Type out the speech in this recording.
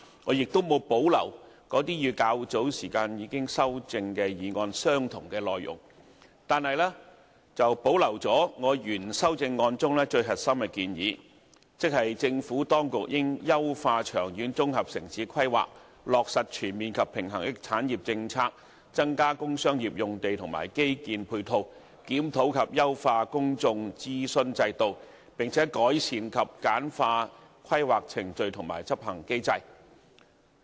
我亦沒有保留與較早時已修正的議案相同的內容，但我保留了原修正案中最核心的建議，即是政府當局應"優化長遠綜合城市規劃、落實全面及平衡的產業政策、增加工商業用地和基建配套"；"檢討及優化公眾諮詢制度，並改善及簡化規劃程序和執行機制"。